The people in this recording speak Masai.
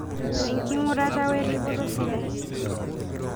Enkingurata weripoto sidai.